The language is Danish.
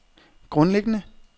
grundlæggende